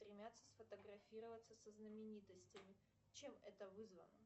стремятся сфотографироваться со знаменитостями чем это вызвано